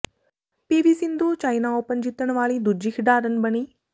ਪੀ V Sindhu China Open ਜਿੱਤਣ ਵਾਲੀ ਦੂਜੀ ਖਿਡਾਰਨ ਬਣੀ